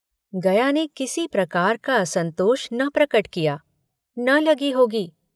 गया ने किसी प्रकार का असंतोष न प्रकट किया न लगी होगी।